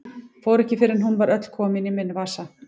Fór ekki fyrr en hún var öll komin í minn vasa.